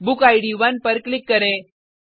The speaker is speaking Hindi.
बुक इद 1 पर क्लिक करें